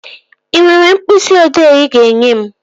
Ị nwere mkpịsị ị odee ị ga-enye m?